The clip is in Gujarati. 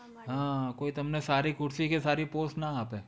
હા કોઈ તમને સારી ખુરશી કે સારી post ન આપે